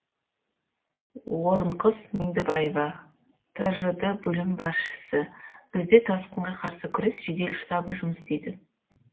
орынқыз меңдібаева тжд бөлім басшысы бізде тасқынға қарсы күрес жедел штабы жұмыс істейді